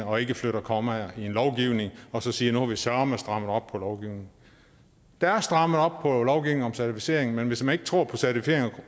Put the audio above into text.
og ikke flytter kommaer i en lovgivning og så siger at nu har vi søreme strammet op på lovgivningen der er strammet op på lovgivningen om certificering men hvis man ikke tror på certificering